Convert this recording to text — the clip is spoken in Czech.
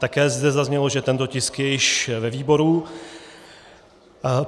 Také zde zaznělo, že tento tisk je již ve výboru.